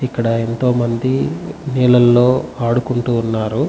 ఇక్కడ ఎంతో మంది నీళ్లలో ఆడుకుంటూ ఉన్నారు.